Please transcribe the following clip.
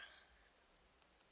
vhone vha ri u gala